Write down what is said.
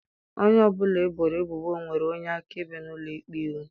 Onye ọ bụla eboro ebubo nwere onye akaebe n'ụlọ ikpe iwu